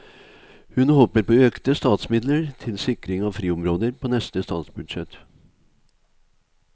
Hun håper på økte statsmidler til sikring av friområder på neste statsbudsjett.